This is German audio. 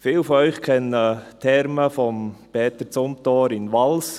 Viele von Ihnen kennen die Thermen von Peter Zumthor in Vals.